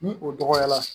Ni o dɔgɔyara